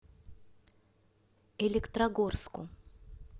электрогорску